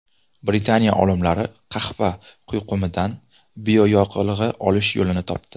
Britaniya olimlari qahva quyqumidan bioyoqilg‘i olish yo‘lini topdi.